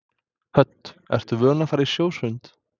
Hödd: Ertu vön að fara í sjósund?